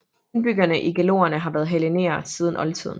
Indbyggerne i Gelonerne har været hellenere siden oldtiden